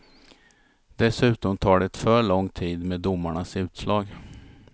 Dessutom tar det för lång tid med domarnas utslag.